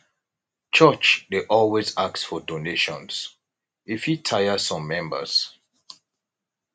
church dey always ask for donations e fit tire some members